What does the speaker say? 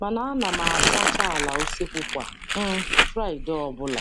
mana a na m asacha ala useekwu kwa um Fraịdee ọbụla.